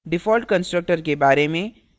default constructor के बारे में